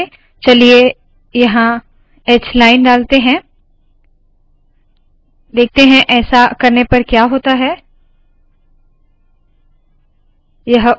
चलिए यहाँ hline hलाइनडालते है देखते है ऐसा करने पर क्या होता है